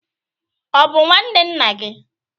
Ọ bụ nwanne nna gị?